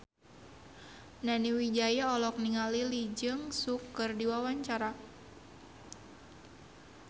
Nani Wijaya olohok ningali Lee Jeong Suk keur diwawancara